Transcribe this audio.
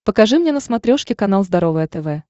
покажи мне на смотрешке канал здоровое тв